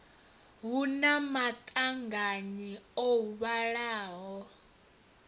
hu na maṱanganyi o vhalaho